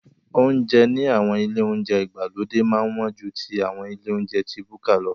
Oúnjẹ ní àwọn ilé oúnjẹ ìgbàlódé máa ń wọ́n ju ti àwọn ilé oúnjẹ ti búkà.